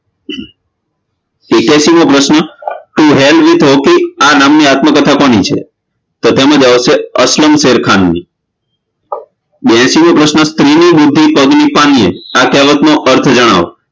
એકયાશીમો પ્રશ્ન To Hell with Hockey આ નામ ની આત્મકથા કોની છે તો તેમ જવાબ આવશે અશલમ શેરખાનની બેઆશીમો પ્રશ્ન સ્ત્રીની બુદ્ધિ પગની પાનીએ આ કેહવતનો અર્થ જણાવો